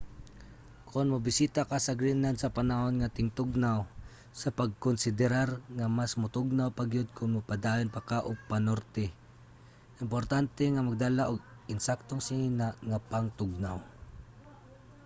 kon mobisita ka sa greenland sa panahon sa tingtugnaw sa pagkonsiderar nga mas motugnaw pa gyud kon mopadayon pa ka og panorte importante nga magdala og insaktong sinina nga pangtugnaw